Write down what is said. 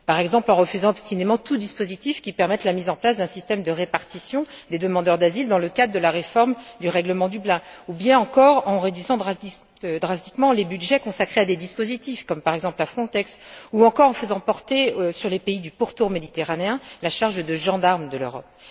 par exemple, en refusant obstinément tout dispositif qui permette la mise en place d'un système de répartition des demandeurs d'asile dans le cadre de la réforme du règlement Dublin, ou bien encore en réduisant drastiquement les budgets consacrés à des dispositifs, comme par exemple Frontex, ou encore en faisant porter sur les pays du pourtour méditerranéen la charge de gendarme de l'Europe.